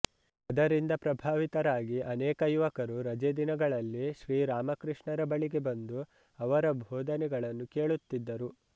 ಅದರಿಂದ ಪ್ರಭಾವಿತರಾಗಿ ಅನೇಕ ಯುವಕರು ರಜೆ ದಿನಗಳಲ್ಲಿ ಶ್ರೀ ರಾಮಕೃಷ್ಣರ ಬಳಿಗೆ ಬಂದು ಅವರ ಬೋಧನೆಗಳನ್ನು ಕೇಳುತ್ತಿದ್ದರು